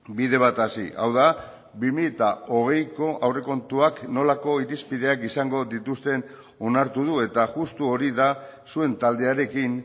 bide bat hasi hau da bi mila hogeiko aurrekontuak nolako irizpideak izango dituzten onartu du eta justu hori da zuen taldearekin